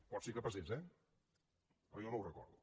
pot ser que passés eh però jo no ho recordo